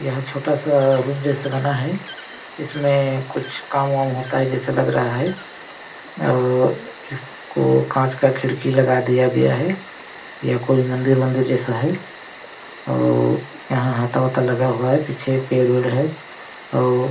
यह छोटा सा रूम जैसा बना है इसमें कुछ काम वाम होता है जैसे लग रहा है और इसको कांच का खिड़की लगा दिया गया है यह कोई मंदिर वन्दिर जैसा है और यहाँ हाता हुता लगा हुआ है पीछे पेड़-वेड़ है और --